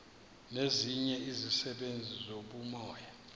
nezinye izisebenzi zobumoya